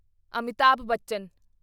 Amitabh Bachchan